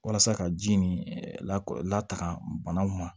Walasa ka ji nin lak lataaga banaw ma